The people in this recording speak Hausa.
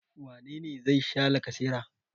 Wane ne za sha lacasera?